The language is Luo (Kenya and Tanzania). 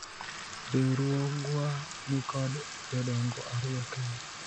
riwruogwa nikod jodongo ariyo kende